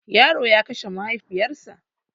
Yaro ya kashe mahaifiyar sa